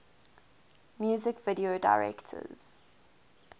music video directors